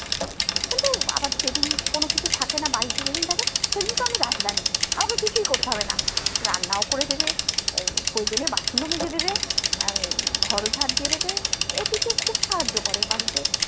কিন্তু আবার যেদিন কোনো কিছু থাকেনা বাড়িতে থাকে সেদিনকে আমি রাজরানী আমাকে কিছুই করতে হবেনা রান্নাও করে দেবে আহ প্রয়োজনে বাসন ও মেজে দেবে আহ ঘর ও ঝাঁট দিয়ে দেবে এই দিকে খুব সাহায্য করে বাড়িতে